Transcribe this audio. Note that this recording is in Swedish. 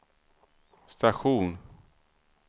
station